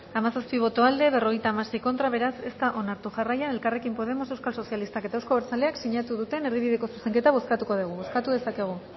hamazazpi boto aldekoa cincuenta y seis contra beraz ez da onartu jarraian elkarrekin podemos euskal sozialistak eta euzko abertzaleak sinatu duten erdibideko zuzenketa bozkatuko dugu bozkatu dezakegu